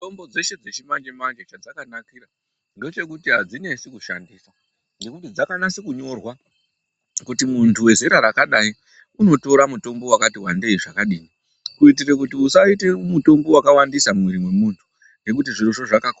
Mitombo dzeshe dzechimanje manje chadzakanakira ngechekuti hadzinetsi kushandisa ngokuti dzakanyatsonyorwa kuti muntu wezera rakadaii unotora mutombo wakati wandei zvakadini kuitira kuti usaite mutombo wakawandisa mumwiri mwemuntu ngokuti zvirozvo zvakakosha.